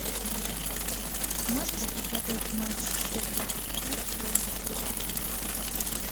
можешь показать матч вест хэм против ливерпуля